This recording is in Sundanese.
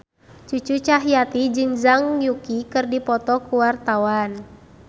Cucu Cahyati jeung Zhang Yuqi keur dipoto ku wartawan